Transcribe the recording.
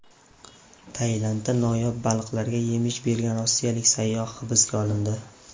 Tailandda noyob baliqlarga yemish bergan rossiyalik sayyoh hibsga olindi.